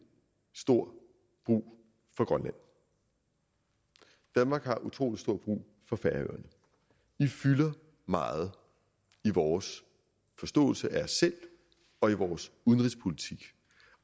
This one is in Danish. stor brug for grønland danmark har utrolig stor brug for færøerne i fylder meget i vores forståelse af os selv og i vores udenrigspolitik